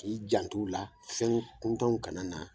I jant' u la fɛn kuntanw kana na